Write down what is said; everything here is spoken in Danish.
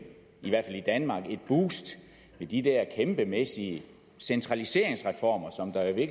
i hvert fald i danmark et boost med de der kæmpemæssige centraliseringsreformer som der i